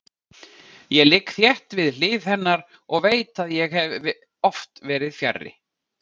Ég ligg þétt við hlið hennar og veit að ég hef oft verið fjarri.